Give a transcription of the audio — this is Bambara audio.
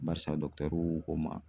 Barisa dɔkutɛriw ko n ma